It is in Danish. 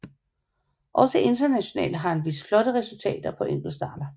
Også internationalt har han vist flotte resultater på enkeltstarter